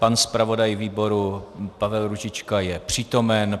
Pan zpravodaj výboru Pavel Růžička je přítomen.